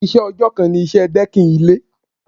Iṣẹ́ ọjọ́ kan ni iṣẹ́ dẹ́kìn ilé.